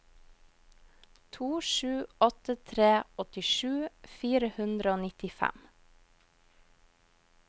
to sju åtte tre åttisju fire hundre og nittifem